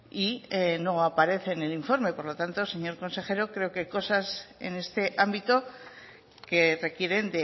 y no aparece en el informe por lo tanto señor consejero creo que hay cosas en este ámbito que requieren